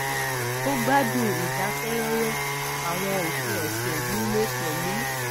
ó gbádùn ìdákẹrọrọ àwọn òpin ọsẹ nílé pẹlú